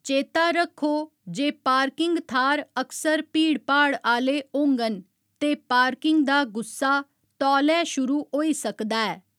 चेता रक्खो जे पार्किंग थाह्‌र अक्सर भीड़भाड़ आह्‌ले होङन ते पार्किंग दा गुस्सा तौलै शुरू होई सकदा ऐ।